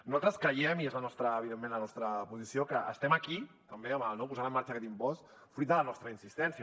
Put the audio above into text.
nosaltres creiem i és evidentment la nostra posició que estem aquí també posant en marxa aquest impost fruit de la nostra insistència